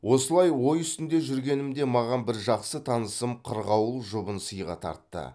осылай ой үстінде жүргенімде маған бір жақсы танысым қырғауыл жұбын сыйға тартты